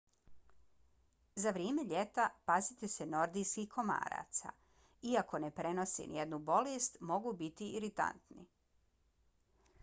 za vrijeme ljeta pazite se nordijskih komaraca. iako ne prenose nijednu bolest mogu biti iritantni